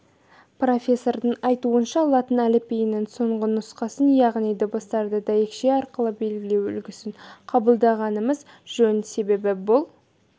профессордың айтуынша латын әліпбиінің соңғы нұсқасын яғни дыбыстарды дәйекше арқылы белгілеу үлгісін қабылдағанымыз жөн себебі бұл